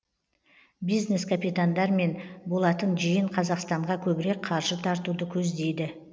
бизнес капитандармен болатын жиын қазақстанға көбірек қаржы тартуды көздейді